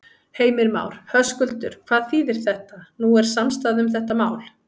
Heimir Már: Höskuldur, hvað þýðir þetta, nú er samstaða um þetta mál?